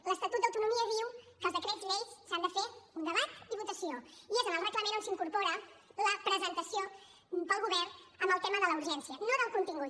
l’estatut d’autonomia diu que per als decrets lleis s’ha de fer un debat i votació i és en el reglament on s’incorpora la presentació pel govern amb el tema de la urgència no del contingut